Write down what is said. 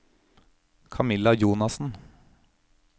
Camilla Jonassen